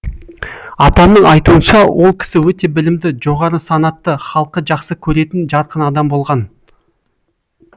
атамның айтуынша ол кісі өте білімді жоғары санатты халқы жақсы көретін жарқын адам болған